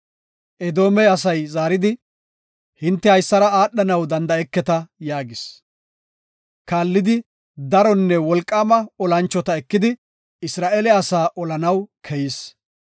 Edoome asay zaaridi, “Hinte haysara aadhanaw danda7eketa” yaagis. Kaallidi, daronne wolqaama olanchota ekidi Isra7eele asaa olanaw keyis.